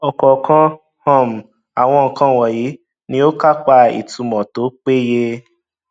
ọkọọkan um àwọn nǹkan wọnyí ni ó kápá ìtumọ tó péye